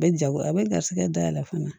A bɛ jago a bɛ garisigɛ dayɛlɛ fana